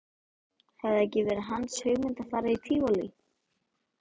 Hafði það ekki verið hans hugmynd að fara í Tívolí?